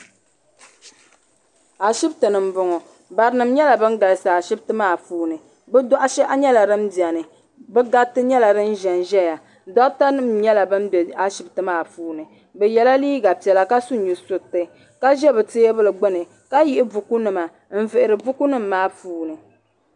Ashipti ni n boŋɔ. Barinim nyela ban galsi ashipti maa puuni. Bɛ dohishehi nyela di n beni. Bɛ gariti nyela din ʒɛn ʒɛya. Doɣatanim nyela ban be ashipti maa puuni. Bɛ yela liiga piela ka su nu suriti ka ʒɛ bɛ tiebuli gbuni ka yihi bukunima and vihiri bukunim maa puuni